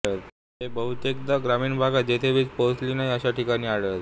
हे बहुतेकदा ग्रामीण भागात जेथे वीज पोचलेली नाही अशा ठिकाणी आढळते